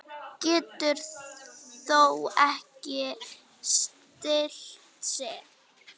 Getur þó ekki stillt sig.